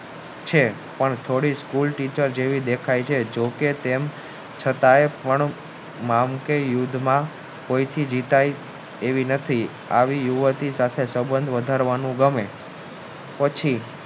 છે પણ થોડી school teacher જેવી દેખાય હે જોકે તેમ છતાં નામ કે યુગમાં કોયથી જીતાય એવી નથી આવી યુવતી સાથે સબંધ વધારવાનું ગમે પછી